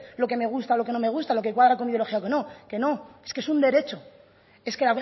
lo que me gusta o lo que no me gusta lo que cuadra con mi ideología o no que no que es que es un derecho es que